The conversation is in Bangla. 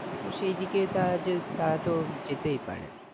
তো সেইদিকে তারা যে তারা তো যেতেই পারে